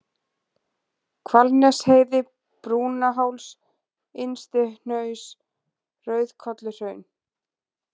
Hvalnesheiði, Brúnaháls, Innstihnaus, Rauðkolluhraun